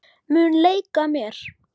Mun leika mér.